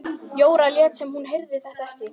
Jóra lét sem hún heyrði þetta ekki.